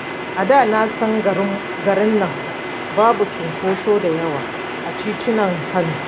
A da na san garinnan babu cunkoso da yawa a titunan Kano.